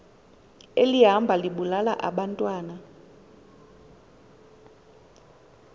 elihamba libulala abantwana